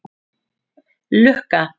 Lukka